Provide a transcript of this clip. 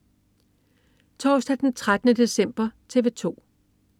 Torsdag den 13. december - TV 2: